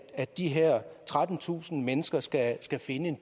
at de her trettentusind mennesker skal skal finde en